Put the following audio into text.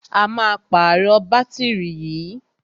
A máa pàrọ̀ bátìrì yìí.